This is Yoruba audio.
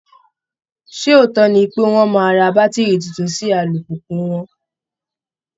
Ṣé òótọ́ ni pé wọ́n máa ra bátìrì tuntun sí alùpùpù wọn?